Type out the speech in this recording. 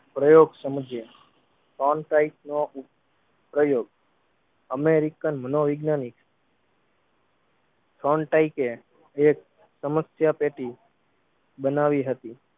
પ્રયોગ સમજ્યે Frontain નો પ્રયોગ અમેરિકન મનો વૈજ્ઞાનિક Frontain કે જે સમસ્યા પેટી બનાવી હતી